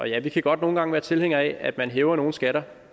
ja vi kan godt nogle gange være tilhængere af at man hæver nogle skatter